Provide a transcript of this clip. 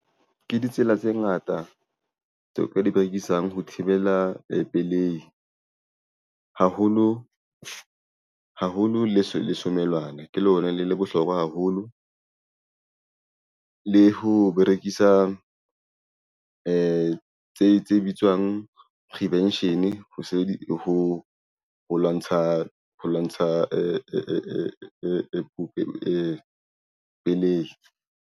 Ke ditsela tse ngata tseo ka di berekisang ho thibela pelehi haholo le somelwane ke lona le bohlokwa haholo le ho berekisa tse bitswang prevention ho lwantsha ho lwantsha e pelehi.